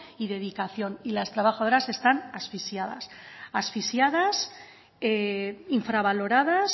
y dedicación y las trabajadoras están asfixiadas asfixiadas infravaloradas